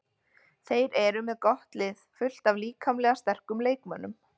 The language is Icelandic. Þeir eru með gott lið, fullt af líkamlega sterkum leikmönnum.